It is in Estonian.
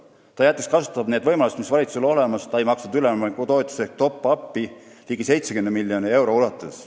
Ta jättis kasutamata need võimalused, mis olid olemas – valitsus ei maksnud üleminekutoetust ehk top-up'i ligi 70 miljoni euro ulatuses.